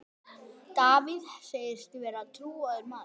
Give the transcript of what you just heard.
Davíð segist vera trúaður maður.